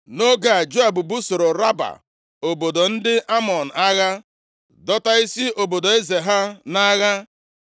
Nʼoge a, Joab busoro Raba obodo ndị Amọn agha dọta isi obodo eze ha nʼagha.